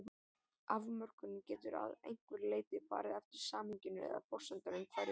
Afmörkunin getur að einhverju leyti farið eftir samhenginu eða forsendum hverju sinni.